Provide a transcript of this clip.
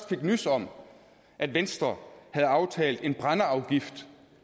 om at venstre havde aftalt en brændeafgift